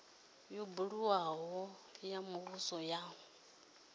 yo buliwaho ya muvhuso ya